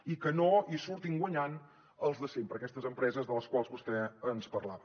i que no hi surtin guanyant els de sempre aquestes empreses de les quals vostè ens parlava